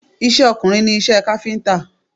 Iṣẹ́ ọkùnrin ni iṣẹ́ káfíńtà